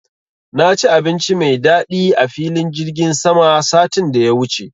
Na ci abinci mai daɗi a filin jirgin sama satin da ya wuce